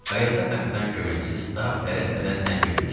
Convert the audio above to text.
Qayıqda kapitan köməkçisi Stab tələsmədən tənbəkü çeynəyirdi.